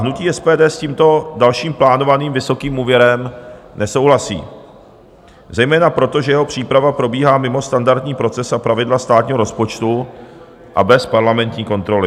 Hnutí SPD s tímto dalším plánovaným vysokým úvěrem nesouhlasí zejména proto, že jeho příprava probíhá mimo standardní proces, pravidla státního rozpočtu a bez parlamentní kontroly.